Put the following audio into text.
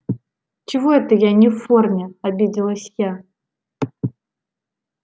чего это я не в форме обиделась я